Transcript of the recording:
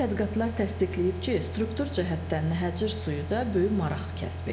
Elmi tədqiqatlar təsdiqləyib ki, struktur cəhətdən Nəhəcir suyu da böyük maraq kəsb edir.